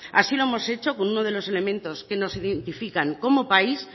así lo hemos hecho con uno de los elementos que nos identifican como país